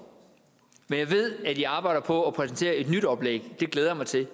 men jeg ved at i arbejder på at præsentere et nyt oplæg det glæder jeg mig til